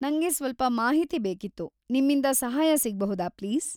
ನಂಗೆ ಸ್ವಲ್ಪ ಮಾಹಿತಿ ಬೇಕಿತ್ತು, ನಿಮ್ಮಿಂದ ಸಹಾಯ ಸಿಗ್ಬಹುದಾ ಪ್ಲೀಸ್?